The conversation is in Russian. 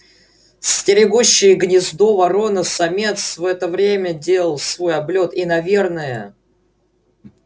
стерегущий гнездо ворона-самец в это время делал свой облёт и наверное